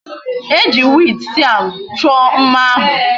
Eji weed siam cho mma ahu